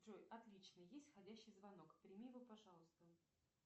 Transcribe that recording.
джой отлично есть входящий звонок прими его пожалуйста